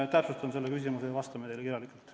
Ma täpsustan seda ja me vastame teile kirjalikult.